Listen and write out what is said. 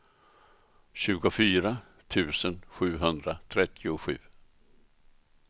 tjugofyra tusen sjuhundratrettiosju